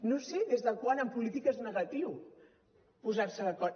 no sé des de quan en política és negatiu posar se d’acord